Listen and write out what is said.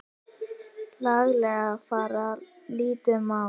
laglega fara lítið má.